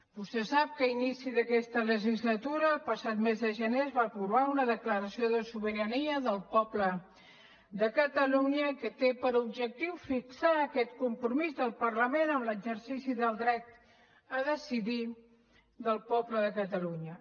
vostè sap que a inici d’aquesta legislatura el passat mes de gener es va aprovar una declaració de sobirania del poble de catalunya que té per objectiu fixar aquest compromís del parlament amb l’exercici del dret a decidir del poble de catalunya